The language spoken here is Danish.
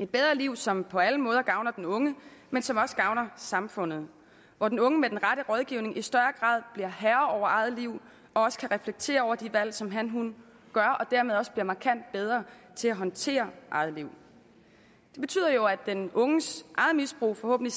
et bedre liv som på alle måder gavner den unge men som også gavner samfundet og hvor den unge med den rette rådgivning i større grad bliver herre over eget liv og også kan reflektere over de valg som hanhun gør og dermed også bliver markant bedre til at håndtere eget liv det betyder jo at den unges eget misbrug forhåbentlig